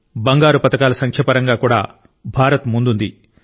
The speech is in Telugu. బంగారు పతకాల సంఖ్య పరంగా కూడా భారత్ ముందుంది